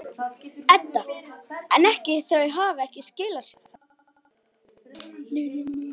Edda: En ekki, þau hafa ekki skilað sér þá?